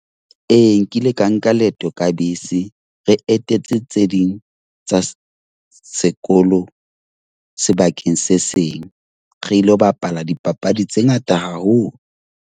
Ee, nkile ka nka leeto ka bese. Re etetse tse ding tsa sekolo sebakeng se seng, re ilo bapala dipapadi tse ngata haholo.